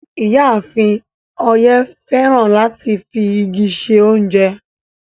Iyàáfín Oye fẹ́ràn láti fi igi ṣẹ ọ̀unjẹ